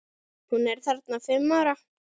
Hún er þarna fimm ára.